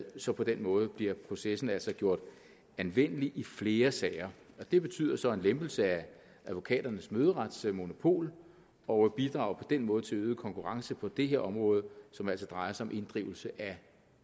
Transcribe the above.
så på den måde bliver processen altså gjort anvendelig i flere sager det betyder så en lempelse af advokaternes møderetsmonopol og bidrager den måde til øget konkurrence på det her område som altså drejer sig om inddrivelse af